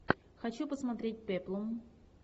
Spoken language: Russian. хочу посмотреть пеплум